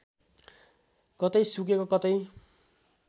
कतै सुकेको कतै